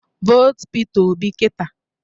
Votuo Peter Obi kita!